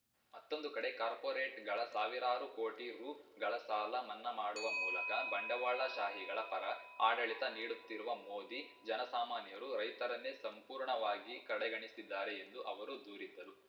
ಮತ್ತೊಂದುಕಡೆ ಕಾರ್ಪೋರೇಟ್‌ಗಳ ಸಾವಿರಾರು ಕೋಟಿ ರುಗಳ ಸಾಲ ಮನ್ನಾ ಮಾಡುವ ಮೂಲಕ ಬಂಡವಾಳ ಶಾಹಿಗಳ ಪರ ಆಡಳಿತ ನೀಡುತ್ತಿರುವ ಮೋದಿ ಜನ ಸಾಮಾನ್ಯರು ರೈತರನ್ನೇ ಸಂಪೂರ್ಣವಾಗಿ ಕಡೆಗಣಿಸಿದ್ದಾರೆ ಎಂದು ಅವರು ದೂರಿದರು